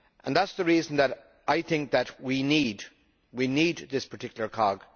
That is the reason why I think that we need we need this particular cog.